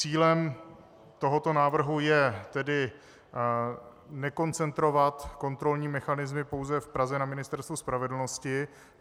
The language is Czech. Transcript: Cílem tohoto návrhu je tedy nekoncentrovat kontrolní mechanismy pouze v Praze na Ministerstvu spravedlnosti.